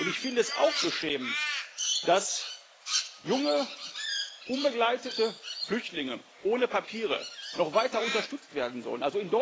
Ich finde es auch beschämend, dass junge unbegleitete Flüchtlinge ohne Papiere noch weiter unterstützt werden sollen.